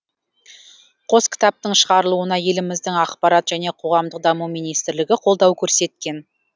қос кітаптың шығарылуына еліміздің ақпарат және қоғамдық даму министрлігі қолдау көрсеткен